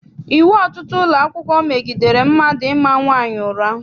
Iwu ọtụtụ ụlọakwụkwọ megidere mmadụ ịma nwaanyị ụra.